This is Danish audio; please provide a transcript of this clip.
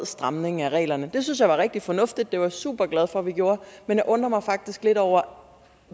stramning af reglerne det synes jeg var rigtig fornuftigt det var jeg superglad for vi gjorde men jeg undrer mig faktisk lidt over